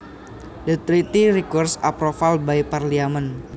The treaty requires approval by Parliament